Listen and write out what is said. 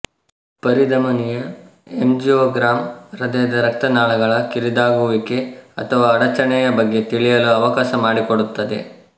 ಪರಿಧಮನಿಯ angiogram ಹೃದಯದ ರಕ್ತ ನಾಳಗಳ ಕಿರಿದಾಗುವಿಕೆ ಅಥವಾ ಅಡಚಣೆಯ ಬಗ್ಗೆ ತಿಳಿಯಲು ಅವಕಾಶ ಮಾಡಿಕೊಡುತ್ತದೆ